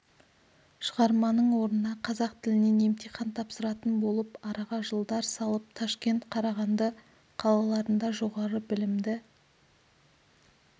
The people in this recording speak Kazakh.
шығарманың орнына қазақ тілінен емтихан тапсыратын болып араға жылдар салып ташкент қарағанды қалаларында жоғары білімді